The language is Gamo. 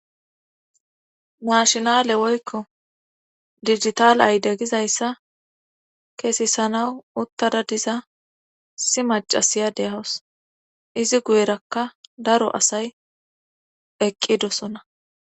Naahinale woykko dijital ayde gizayssa kesisanaw uttada diza issi maccasiya de7aws izi guyerakka daro asay eqqidosona.